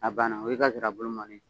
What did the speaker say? A banna o y'i ka nsira bulu mɔnni ye